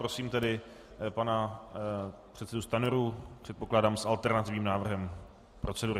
Prosím tedy pana předsedu Stanjuru, předpokládám s alternativním návrhem procedury.